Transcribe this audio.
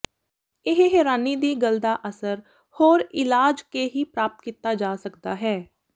ਇਹ ਹੈਰਾਨੀ ਦੀ ਗੱਲ ਦਾ ਅਸਰ ਹੋਰ ਇਲਾਜ ਕੇ ਹੀ ਪ੍ਰਾਪਤ ਕੀਤਾ ਜਾ ਸਕਦਾ ਹੈ